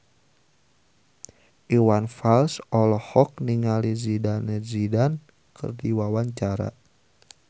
Iwan Fals olohok ningali Zidane Zidane keur diwawancara